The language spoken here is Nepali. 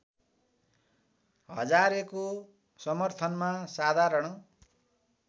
हजारेको समर्थनमा साधारण